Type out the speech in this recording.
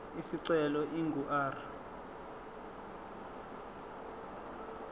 isicelo ingu r